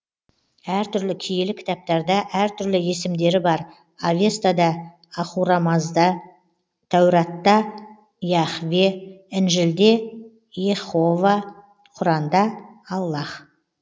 әртүрлі киелі кітаптарда әртүрлі есімдері бар авестада ахурамазда тәуратта яхве інжілде иеһова құранда аллаһ